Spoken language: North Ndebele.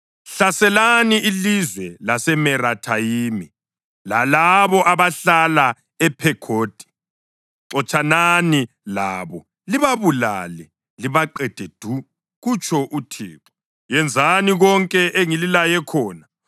Hlaselani ilizwe laseMerathayimi lalabo abahlala ePhekhodi. Xotshanani labo libabulale libaqede du,” kutsho uThixo. “Yenzani konke engililaye khona.